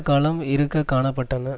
காலம் இருக்க காண பட்டன